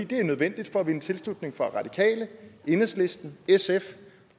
det er nødvendigt for at vinde tilslutning fra radikale enhedslisten sf